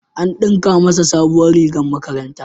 An ɗinka masa sabuwar rigar makaranta.